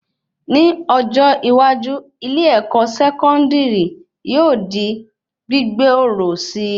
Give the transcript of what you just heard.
Ní ọjọ́ iwájú, ilé-èkó sẹkọndiri yóò di gbigboro síi